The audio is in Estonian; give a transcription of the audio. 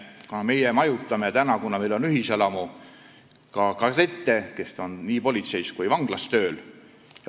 Kuna meil on ühiselamu, siis me majutame ka kadette, kes on politseis või vanglas tööl.